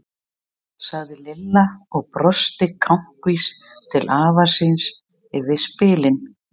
sagði Lilla og brosti kankvís til afa síns yfir spilin.